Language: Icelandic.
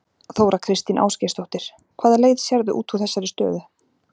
Þóra Kristín Ásgeirsdóttir: Hvaða leið sérðu út úr þessari stöðu?